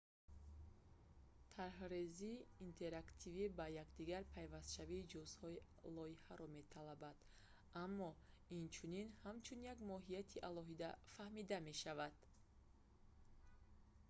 тарҳрезии интерактивӣ ба якдигар пайвастшавии ҷузъҳои лоиҳаро металабад аммо инчунин ҳамчун як моҳияти алоҳида фаҳмида мешавад